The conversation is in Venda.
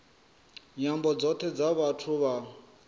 nyambo dzothe dza vhathu vha